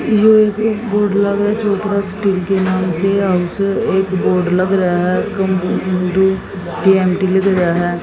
ये एक बोर्ड लगे चोपड़ा स्टील के नाम से और एक बोर्ड लग रह हैं।